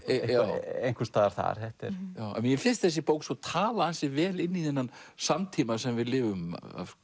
einhvers staðar þar mér finnst þessi bók tala ansi vel inn í þennan samtíma sem við lifum